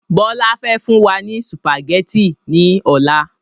Bọlá fẹ́ fún wa ní sùpàgétì ni ọ̀la.